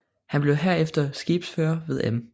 Han blev herefter skibsfører ved Em